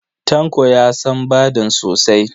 Tanko ya san Badun sosa.